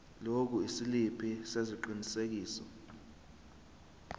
lokhu isiliphi sesiqinisekiso